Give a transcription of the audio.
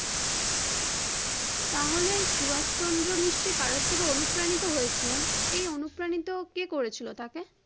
তাহলে সুভাষ চন্দ্র নিশ্চই কারোর থেকে অনুপ্রাণিত হয়েছিলেন এই অনুপ্রানিত কে করেছিল তাকে?